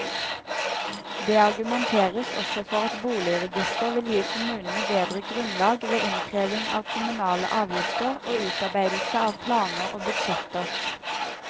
Det argumenteres også for at boligregisteret vil gi kommunene bedre grunnlag ved innkreving av kommunale avgifter og utarbeidelse av planer og budsjetter.